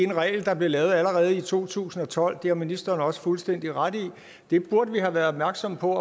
en regel der blev lavet allerede i to tusind og tolv det har ministeren også fuldstændig ret i vi burde have været opmærksomme på